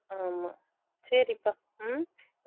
ஆமா சேரிப்பா உம்